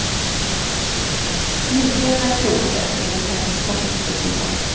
Likheterna är slående, enligt hennes forskningsresultat.